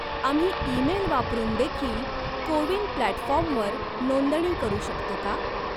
आम्ही ईमेल वापरून देखील को विन प्लॅटफॉर्मवर नोंदणी करू शकतो का?